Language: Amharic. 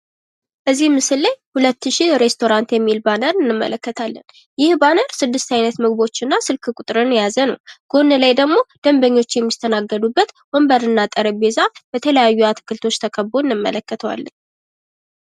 እዚህ ምስል ላይ ሁለት ሽ ሬስቶራንት የሚል ባነር እንመለከታለን። ይህ ባነር ስድስት አይነት ምግቦች እና ስልክ ቁጥርን የያዘ ነው። ጎን ላይ ደግሞ ደንበኞች የሚስተናገዱበት ወንበር እና ጠረጴዛ በተለያዩ አትክልቶች ተከቦ እንመለከተዋለን።